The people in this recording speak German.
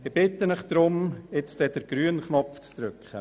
Ich bitte Sie darum, auf den grünen Knopf zu drücken.